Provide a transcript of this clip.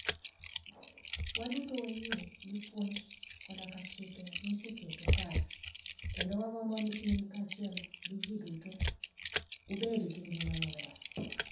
Waduto wayie gi puonj koda chike miseketo kae, kendo wagombo ni in kaachiel gi jotugo ubed gi ngima maber.